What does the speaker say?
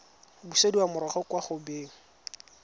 busediwa morago kwa go beng